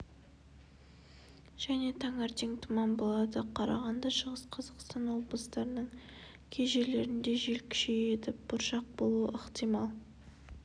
және таңертең тұман болады қарағанды шығыс қазақстан облыстарының кей жерлерінде жел күшейеді бұршақ болуы ықтимал